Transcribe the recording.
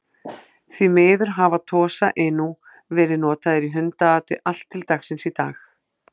Því miður hafa Tosa Inu verið notaðir í hundaati allt til dagsins í dag.